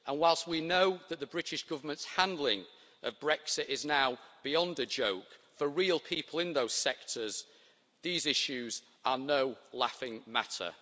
Whilst we know that the British Government's handling of Brexit is now beyond a joke, for the real people working in those sectors, these issues are no laughing matter.